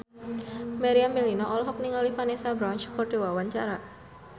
Meriam Bellina olohok ningali Vanessa Branch keur diwawancara